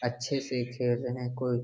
अच्छे से खेल रहे हैं कुल --